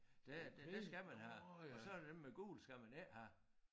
Det der skal man have og så der dem med gul skal man ikke have